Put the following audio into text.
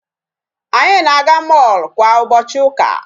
Anyị na-aga mall kwa ụbọchị ụka.